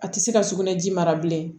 A tɛ se ka sugunɛ ji mara bilen